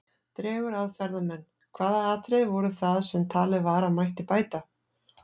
Dregur að ferðamenn Hvaða atriði voru það sem talið var að mætti bæta?